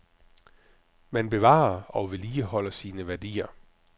Man bevarer og vedligeholder sine værdier.